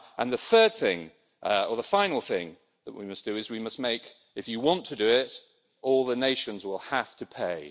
The third thing, or the final thing that we must do is we must make if you want to do it, all the nations will have to pay'.